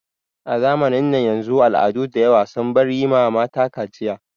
A zamanin yanzu al'adu dayawa sun bar yi ma mata kaciya.